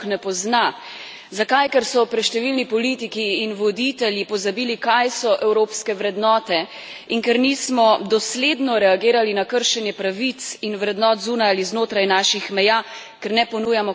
Ker so preštevilni politiki in voditelji pozabili, kaj so evropske vrednote, in ker nismo dosledno reagirali na kršenje pravic in vrednot zunaj ali znotraj naših meja, ker ne ponujamo, kot ste dejali, socialne Evrope.